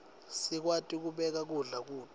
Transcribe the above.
sikwati kubeka kudla kuto